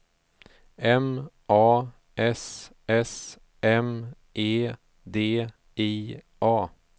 M A S S M E D I A